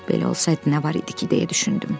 Belə olsaydı nə var idi ki, deyə düşündüm.